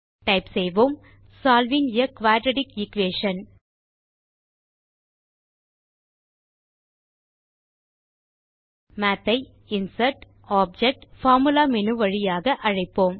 type செய்வோம் solving a quadratic equation math ஐ insert object formula menu வழியாக அழைப்போம்